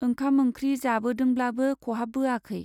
ओंखाम ओंख्रि जाबोदोंब्लाबो खहाबबोआखै।